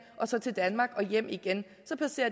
og så til danmark og hjem igen